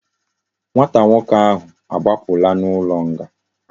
Nwata nwoke ahu agbapula na ulo nga